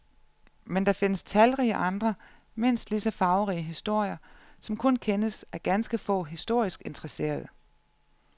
Men der findes talrige andre mindst ligeså farverige historier, som kun kendes af ganske få historisk interesserede.